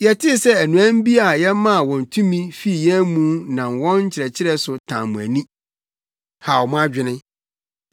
Yɛtee sɛ anuanom bi a yɛmaa wɔn tumi fi yɛn mu nam wɔn nkyerɛkyerɛ so tan mo ani, haw mo adwene.